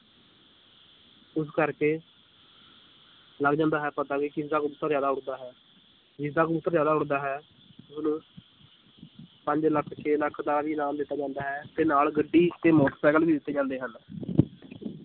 ਇਸ ਕਰਕੇ ਲੱਗ ਜਾਂਦਾ ਹੈ ਪਤਾ ਵੀ ਕਿਸਦਾ ਕਬੂਤਰ ਜ਼ਿਆਦਾ ਉੱਡਦਾ ਹੈ, ਜਿਸਦਾ ਕਬੂਤਰ ਜ਼ਿਆਦਾ ਉੱਡਦਾ ਹੈ ਉਹਨੂੰ ਪੰਜ ਲੱਖ ਛੇ ਲੱਖ ਦਾ ਵੀ ਇਨਾਮ ਦਿੱਤਾ ਜਾਂਦਾ ਹੈ ਤੇ ਨਾਲ ਗੱਡੀ ਤੇ ਮੋਟਰ ਸਾਈਕਲ ਵੀ ਦਿੱਤੇ ਜਾਂਦੇ ਹਨ